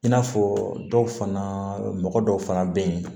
I n'a fɔ dɔw fana mɔgɔ dɔw fana bɛ yen